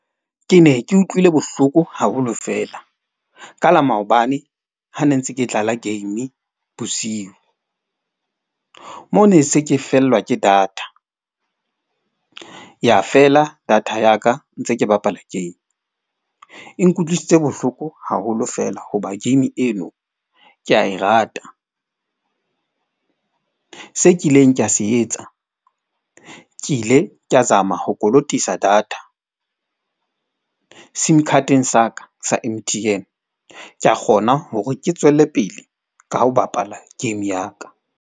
Ke ne ke utlwile bohloko haholo fela. Ka la maobane ha ne ntse ke dlala game bosiu. Moo ne se ke fellwa ke data, ya fela data ya ka ntse ke bapala game. E nkutlwisitse bohloko haholo fela hobane game eno, ke a e rata. Se ke kileng ka se etsa, ke ile ka zama ho kolotisa data. Sim card-eng sa ka sa M_T_N ka kgona hore ke tswele pele, ka ho bapala game ya ka.